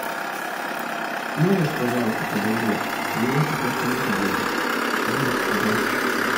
можешь пожалуйста подождать у меня пока что нету денег я бомж